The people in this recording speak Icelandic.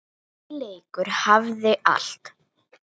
Þessi leikur hafði allt.